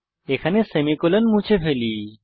এখানে সেমিকোলন মুছে ফেলি